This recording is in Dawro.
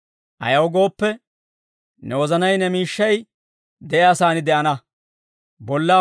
Ayaw gooppe, ne wozanay ne miishshay de'iyaa saan de'ana.